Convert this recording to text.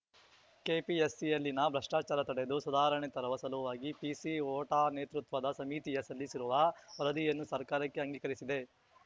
ಕೆಪಿಎಸ್‌ಸಿಯಲ್ಲಿನ ಭ್ರಷ್ಟಾಚಾರ ತಡೆದು ಸುಧಾರಣೆ ತರುವ ಸಲುವಾಗಿ ಪಿಸಿಹೋಟಾ ನೇತೃತ್ವದ ಸಮಿತಿಯ ಸಲ್ಲಿಸಿರುವ ವರದಿಯನ್ನು ಸರ್ಕಾರಕ್ಕೆ ಅಂಗೀಕರಿಸಿದೆ